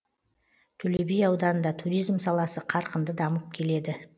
төле би ауданында туризм саласы қарқынды дамып келеді